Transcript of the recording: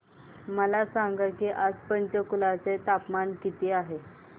मला सांगा की आज पंचकुला चे तापमान काय आहे